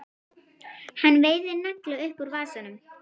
Hann veiðir nagla upp úr vasanum.